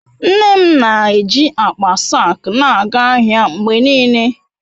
Nne m na-eji akpa saak na-aga ahịa mgbe niile.